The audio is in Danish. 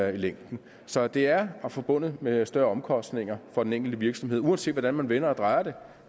i længden så det er forbundet med større omkostninger for den enkelte virksomhed uanset hvordan vi vender og drejer det